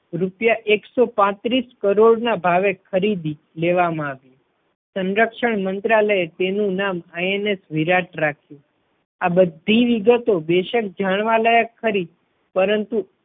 રૂપિયા એક સો પાત્રીસ કરોડ ના ભાવે ખરીદી લેવામાં આવ્યું. સરક્ષણ મંત્રાલયે તેનું નામ INS વિરાટ રાખ્યું. આ બધી વિગતો બેશક જાણવા લાયક ખરી પરંતુ